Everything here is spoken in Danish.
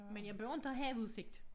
Men jeg beundrer havudsigt